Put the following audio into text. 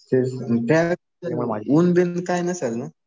त्यावेळेस ऊन बिन काही नसेल ना?